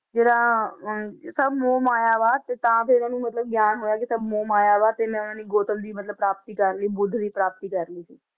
ਜਿਹੜਾ ਅਹ ਸਭ ਮੋਹ ਮਾਇਆ ਵਾ ਤੇ ਤਾਂ ਫਿਰ ਉਹਨੂੰ ਮਤਲਬ ਗਿਆਨ ਹੋਇਆ ਕਿ ਸਭ ਮੋਹ ਮਾਇਆ ਵਾ ਤੇ ਮੈਂ ਮਤਲਬ ਪ੍ਰਾਪਤੀ ਕਰ ਲਈ ਬੁੱਧ ਦੀ ਪ੍ਰਾਪਤੀ ਕਰ ਲਈ ਸੀ।